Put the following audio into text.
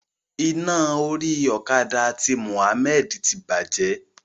Iná orí okada ti Muhmmad ti bàjẹ́.